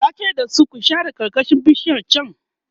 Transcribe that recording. tace da su "ku share karkashin bishiyar chan!"